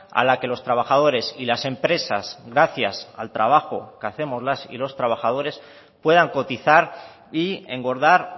a la que los trabajadores y las empresas gracias al trabajo que hacemos las y los trabajadores puedan cotizar y engordar